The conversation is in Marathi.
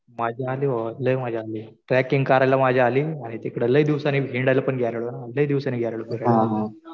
मजा आली भावा. लय मजा आली. ट्रॅकिंग करायला मजा आली. आणि तिकडं लय दिवसांनी हिंडायला गेलेलो ना. लय दिवसांनी गेलेलो फिरायला.